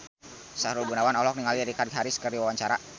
Sahrul Gunawan olohok ningali Richard Harris keur diwawancara